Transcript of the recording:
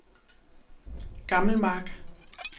Gammelmark